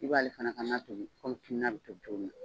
I b'ale fana ka na tobi kɔmi finin na bɛ tobi cogo min na.